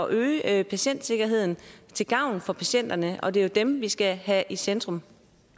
øge patientsikkerheden til gavn for patienterne og det er jo dem vi skal have i centrum